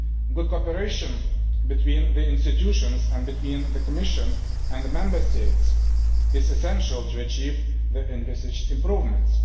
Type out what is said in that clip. Good cooperation between the institutions and between the Commission and the Member States is essential to achieve the envisaged improvements.